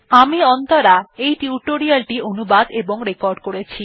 আমি অন্তরা এই টিউটোরিয়াল টি অনুবাদ এবং রেকর্ড করেছি